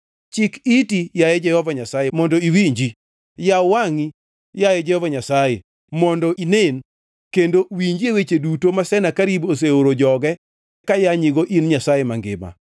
Chik iti, yaye Jehova Nyasaye mondo iwinji, yaw wangʼi, yaye Jehova Nyasaye mondo ine; kendo winjie weche duto ma Senakerib oseoro joge kayanyigo in Nyasaye mangima.